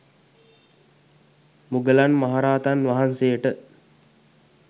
මුගලන් මහ රහතන් වහන්සේට